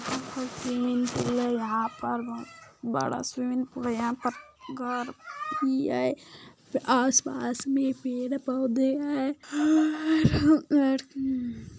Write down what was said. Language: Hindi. स्विमिंग पूल है यहाँ पर बोहत बड़ा स्विमिंग पूल है यहाँ पर घर भी है आस पास मैं पेड़ पोधे है